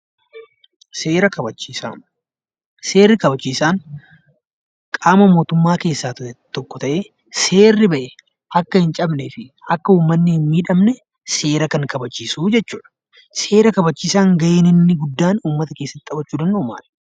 Seera kabachiisaa. Seera kabachiisaan qaama mootummaa keessaa tokko ta'ee seerri ba'e akka hin cabneefi akka uummanni hin miidhamne seera kan kabachiisuu jechuudha. Seera kabachiisaan gaheen inni guddaan uummata keessatti taphachuu danda'u maali?